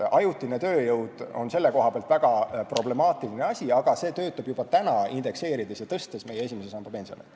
Ajutine tööjõud on selle koha pealt väga problemaatiline asi, aga see töötab juba praegu indekseerides ja tõstes meie esimese samba pensioni.